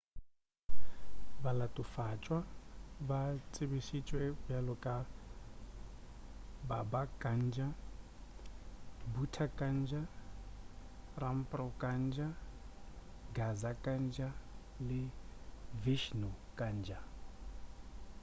balatofatšwa ba tsebišitšwe bjalo ka baba kanjar bhutha kanjar rampro kanjar gaza kanjar le vishnu kanjar